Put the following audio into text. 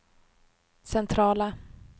centrala